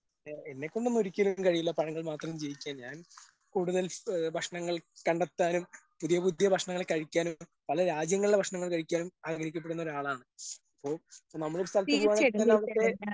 ഏ എന്നെക്കൊണ്ടൊന്നും ഒരിക്കലും കഴിയില്ല പഴങ്ങള് മാത്രം ജീവിക്കാൻ ഞാൻ കൂടുതൽ ഏ ഭക്ഷണങ്ങൾ കണ്ടെത്താനും പുതിയ പുതിയ ഭക്ഷണങ്ങൾ കഴിക്കാനും പല രാജ്യങ്ങളിലെ ഭക്ഷങ്ങൾ കഴിക്കാനും ആഗ്രഹിക്കപ്പെടുന്നൊരാളാണ് ഇപ്പൊ ഇപ്പൊ നമ്മളൊരു സ്ഥലത്ത് പോവാണെങ്കി തന്നെ അവിടുത്തെ.